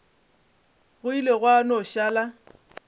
go ile gwa no šala